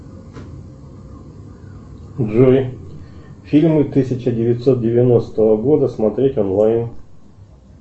джой фильмы тысяча девятьсот девяностого года смотреть онлайн